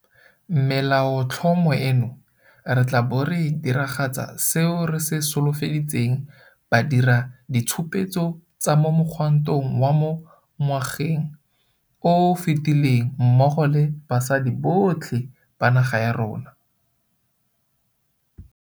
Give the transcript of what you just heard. Melaotlhomo eno, re tla bo re diragatsa seo re se solofeditseng badiraditshupetso ba mo mogwantong wa mo ngwageng o o fetileng mmogo le basadi botlhe ba naga ya rona.